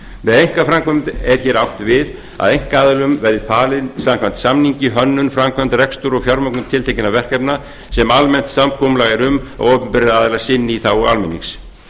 með einkaframkvæmd er hér átt við að einkaaðilum verði falin samkvæmt samningi hönnun framkvæmd rekstur og fjármögnun tiltekinna verkefna sem almennt samkomulag er um að opinberir aðilar sinni í þágu almennings